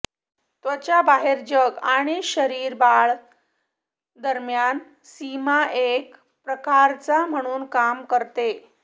त्वचा बाहेर जग आणि शरीर बाळ दरम्यान सीमा एक प्रकारचा म्हणून काम करते